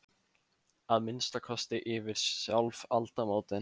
Að minnsta kosti yfir sjálf aldamótin.